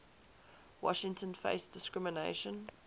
washington faced discrimination